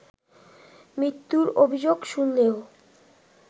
মৃত্যুর অভিযোগ শুনলেও